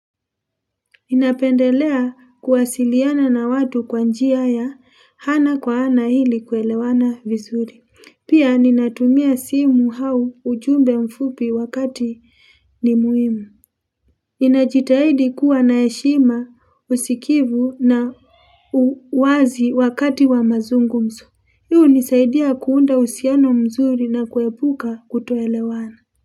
Ninapendelea kuwasiliana na watu kwa njia ya ana kwa aana ili kuelewana vizuri. Pia ninatumia simu au ujumbe mfupi wakati ni muhimu. Ninajitahidi kuwa na heshima usikivu na uwazi wakati wa mazungumzo. Hii hunisaidia kuunda uhusiano mzuri na kuepuka kutoelewana.